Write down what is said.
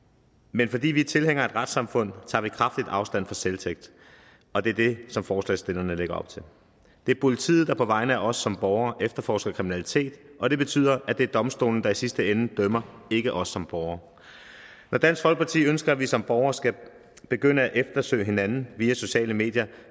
men fordi vi er tilhængere af et retssamfund tager vi kraftigt afstand fra selvtægt og det er det som forslagsstillerne lægger op til det er politiet der på vegne af os som borgere efterforsker kriminalitet og det betyder at det er domstolene der i sidste ende dømmer ikke os som borgere når dansk folkeparti ønsker at vi som borgere skal begynde at eftersøge hinanden via sociale medier